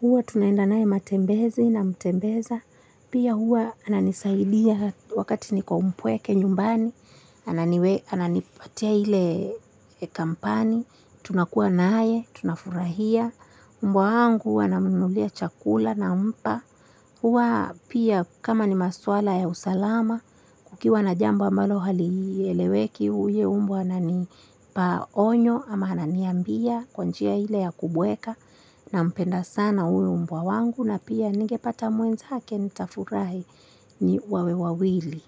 Huwa tunaenda naye matembezi namtembeza. Pia huwa ananisaidia wakati niko mpweke nyumbani, ananipatia ile kampani, tunakuwa naye, tunafurahia. Mbwa wangu huwa namnunulia chakula nampa. Huwa pia kama ni maswala ya usalama kukiwa na jambo ambalo halieleweki huyo mbwa anani pa onyo ama ananiambia kwa njia ile ya kubweka nampenda sana huyu mbwa wangu na pia ningepata mwenzake nitafurahi ni wawe wawili.